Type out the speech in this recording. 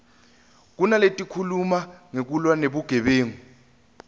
kunaletikhuluma ngekulwa nebugebengu